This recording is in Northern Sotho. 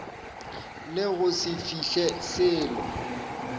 le go se fihle selo